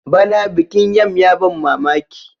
bana bikin yam ya ban mamaki